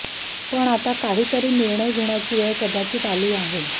पण आता काहीतरी निर्णय घेण्याची वेळ कदाचित आली आहे